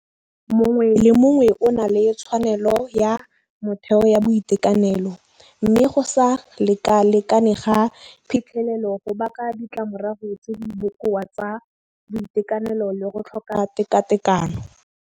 Mongwe le mongwe o na le tshwanelo ya motheo ya boitekanelo, mme go sa lekalekane ga phitlhelelo go baka ditlamorago tse di bokoa tsa boitekanelo le go tlhoka tekatekano.